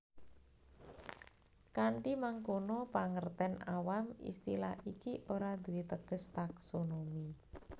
Kanthi mangkono pangertèn awam istilah iki ora duwé teges taksonomi